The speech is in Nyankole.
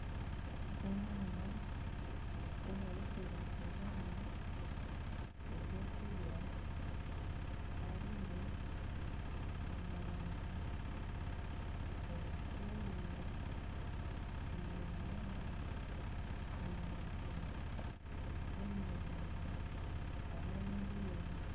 Omuhanda ogu barikuzamu, ebyokurya harimu emondi, obutunguru, biringanya, eminekye n'emondi hamwe n'ebindi.